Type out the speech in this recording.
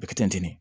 A bɛ kɛ tɛntɛn